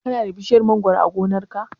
Ka na da bishiyar mangoro a gonar ka?